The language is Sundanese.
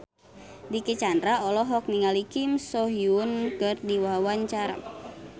Dicky Chandra olohok ningali Kim So Hyun keur diwawancara